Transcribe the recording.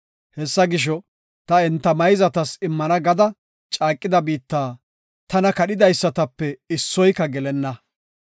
Hessa gisho, ta enta mayzatas immana gada caaqida biitta tana kadhidaysatape issoyka gelenna.